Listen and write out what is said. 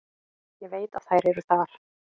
Ég veit að þær eru þar.